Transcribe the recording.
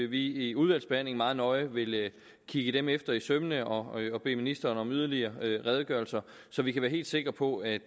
vi i udvalgsbehandlingen meget nøje vil kigge dem efter i sømmene og bede ministeren om yderligere redegørelser så vi kan være helt sikre på at